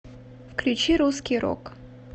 включи русский рок